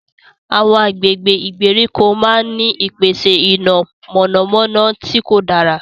Awọn agbègbè ìgbèríko máà n ni ìpèsè iná mọnamọna tí kò dára